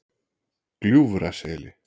Gljúfraseli